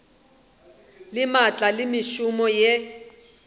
le maatla le mešomo yeo